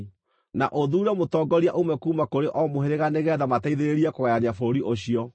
Na ũthuure mũtongoria ũmwe kuuma kũrĩ o mũhĩrĩga nĩgeetha mateithĩrĩrie kũgayania bũrũri ũcio.